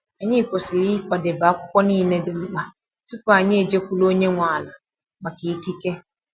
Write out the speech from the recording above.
Anyị kwesịrị ịkwadebe akwụkwọ niile dị mkpa tupu anyị eje kwuru onye nwe ala maka ikike.